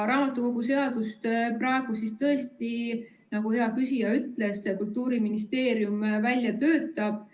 Raamatukogu seadust praegu tõesti, nagu hea küsija ütles, Kultuuriministeerium välja töötab.